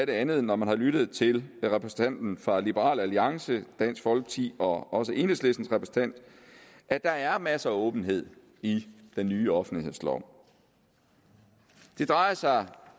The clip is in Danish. andet når man har lyttet til repræsentanterne fra liberal alliance dansk folkeparti og også enhedslisten at der er masser af åbenhed i den nye offentlighedslov det drejer sig